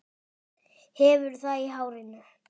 Hefur það í hárinu.